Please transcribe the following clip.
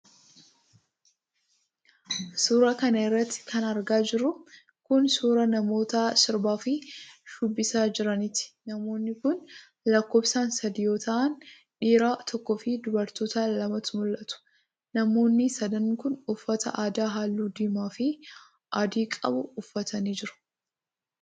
Suura kana irratti kan argaa jirru kun, suura namoota sirbaa fi shubbisaa jiraniiti. Namoonni kun lakkoofsaan sadii yoo ta'an, dhiira tokkoo fi dubartoota lamatu mul'atu. Namoonni sadan kun, uffata aadaa haalluu diimaa fi adii qabu uffatanii jiru.